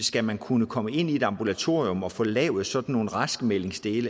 skal man kunne komme ind i et ambulatorium og få lavet sådan nogle raskmeldinger